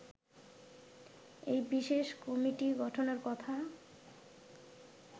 এই বিশেষ কমিটি গঠনের কথা